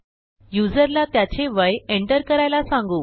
युजरला त्याचे वय एंटर करायला सांगू